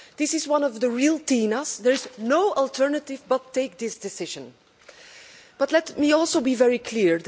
This is one of the real TINAs' there is no alternative to taking this decision. But let me also be very clear.